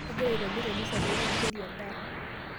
Agira aitobir emisa pee meibukori endaa.